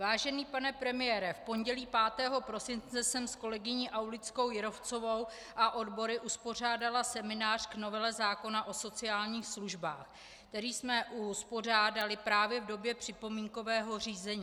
Vážený pane premiére, v pondělí 5. prosince jsem s kolegyni Aulickou Jírovcovou a odbory uspořádala seminář k novele zákona o sociálních službách, který jsme uspořádali právě v době připomínkového řízení.